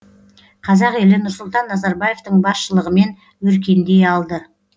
қазақ елі нұрсұлтан назарбаевтың басшылығымен өркендей алды